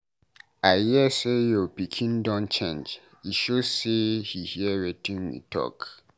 I hear say your pikin don change, e,show say he hear wetin we talk.